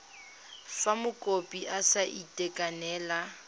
fa mokopi a sa itekanela